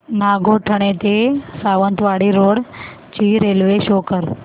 नागोठणे ते सावंतवाडी रोड ची railway show कर